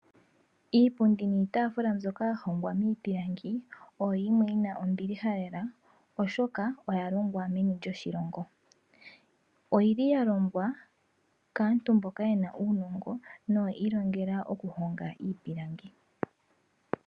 Iipundi niitaafula mbyoka yalongwa miipilangi oyo yimwe yina ombiliha lela oshoka oyalongwa meni lyoshilongo. Oyili yalongwa kaantu mboka yena uunongo na oyiilongela okuhonga iipilangi.